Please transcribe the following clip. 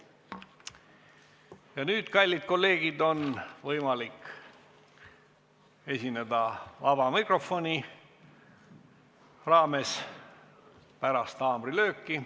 Ja nüüd, kallid kolleegid, on võimalik esineda pärast haamrilööki vabas mikrofonis.